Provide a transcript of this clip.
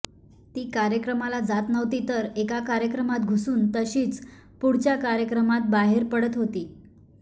ती कार्यक्रमाला जात नव्हती तर एका कार्यक्रमात घुसून तशीच पुढच्या कार्यक्रमात बाहेर पडत होती